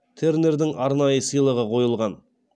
тернердің арнайы сыйлығы қойылған